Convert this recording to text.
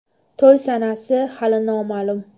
To‘y sanasi hali noma’lum.